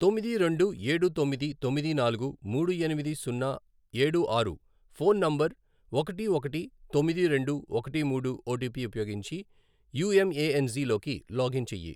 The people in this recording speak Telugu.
తొమ్మిది రెండు ఏడు తొమ్మిది తొమ్మిది నాలుగు మూడు ఎనిమిది సున్నా ఏడు ఆరు ఫోన్ నంబర్ ఒకటి ఒకటి తొమ్మిది రెండు ఒకటి మూడు ఓటిపి ఉపయోగించి యూఎంఏఎన్జి లోకి లాగిన్ చేయి.